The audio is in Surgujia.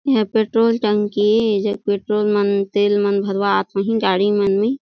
एहर पेट्रोल टंकी एजग पेट्रोल मन तेल मन भरवात होंही गाड़ी मन में।